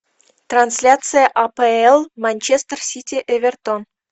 трансляция апл манчестер сити эвертон